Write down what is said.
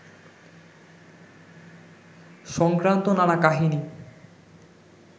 সংক্রান্ত নানা কাহিনি